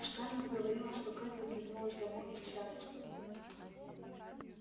скарлетт говорила что кэтлин вернулась домой из чарльстона